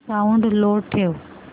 sound low ठेव